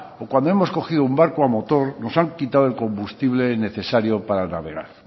o cuando hemos cogido un barco a motor nos han quitado el combustible necesario para navegar